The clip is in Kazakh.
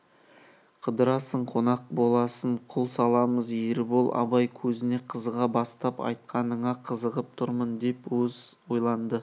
қыдырасың қонақ боласын құл саламыз ербол абай сөзіне қызыға бастап айтқаныңа қызығып тұрмын деп аз ойланды